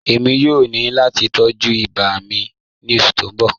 Ẹ̀mi yòó ní láti tọ̀jú ìbà ní ọṣù tí n bọ̀.